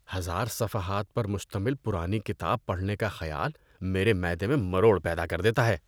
ہزار صفحات پر مشتمل پرانی کتاب پڑھنے کا خیال میرے معدے میں مروڑ پیدا کر دیتا ہے.